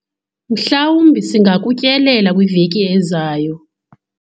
mhlawumbi singakutyelela kwiveki ezayo